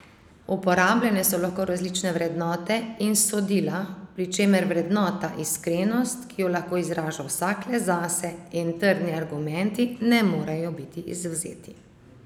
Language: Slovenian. Uporabljene so lahko različne vrednote in sodila, pri čemer vrednota iskrenost, ki jo lahko izraža vsak le zase, in trdni argumenti ne morejo biti izvzeti.